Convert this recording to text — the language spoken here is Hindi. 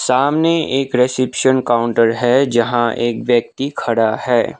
सामने एक रिसेप्शन काउंटर है जहां एक व्यक्ति खड़ा है।